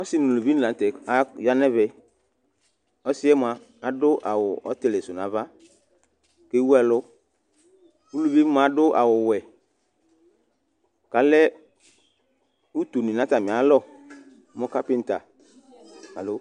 Ɔsi nʋ ʋlʋvi ni la ntɛ aya nʋ ɛvɛ Ɔsi mʋa adu awu ɔtili su nʋ ava kʋ ewu ɛlu Ʋlʋvi mʋa adu awu wɛ kʋ alɛ ʋtʋnʋ nʋ atami alɔ nʋ kapinta